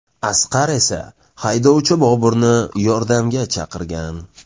Asqar esa haydovchi Boburni yordamga chaqirgan.